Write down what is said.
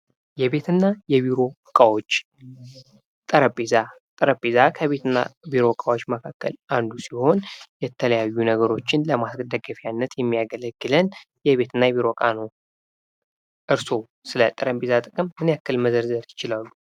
የቤት እና የቢሮ ዕቃዎች ጠረጴዛ ጠረጴዛ ከቤት እና ከቢሮ እቃዎች መካከል አንዱ ሲሆን የተለያዩ ነገሮችን ለማስደገፍ ያለት የሚያገለግለን የቤትና የቢሮ ዕቃ ነው። እርሶ ስለ ጠረጴዛ ጥቅም ምን ያክል መዝርዝር ይችላሉ?